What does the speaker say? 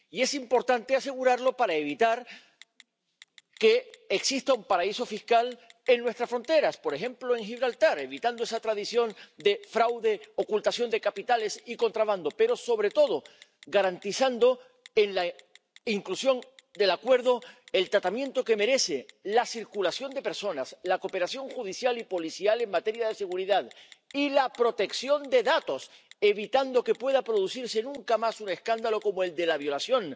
Y es importante asegurarlo para evitar que exista un paraíso fiscal en nuestra fronteras ―por ejemplo en Gibraltar―, evitando esa tradición de fraude, ocultación de capitales y contrabando, pero, sobre todo, garantizando en la inclusión del acuerdo el tratamiento que merece la circulación de personas, la cooperación judicial y policial en materia de seguridad y la protección de datos y evitando que pueda producirse nunca más un escándalo como el de la violación